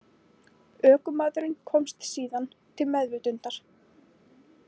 Ökumaðurinn komst síðan til meðvitundar